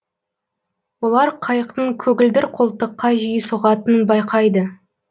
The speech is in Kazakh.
олар қайықтың көгілдір қолтыққа жиі соғатынын байқайды